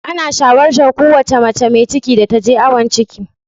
Ana shawartar kowace mace mai ciki da ta je awon ciki.